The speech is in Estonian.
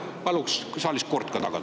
Palun saalis kord ka tagada.